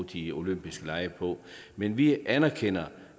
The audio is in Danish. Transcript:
de olympiske lege på men vi anerkender